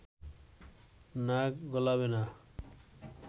নাক গলাবে না